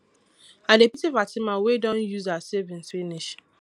i dey pity fatima wey don use her savings finish